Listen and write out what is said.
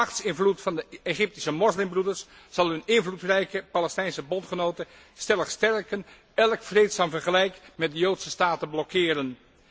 Machtsinvloed van de Egyptische Moslimbroeders zal hun invloedrijke Palestijnse bondgenoten stellig sterken en elk vreedzaam vergelijk met de joodse staat blokkeren.